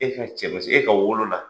E ka cɛ e ka wolo la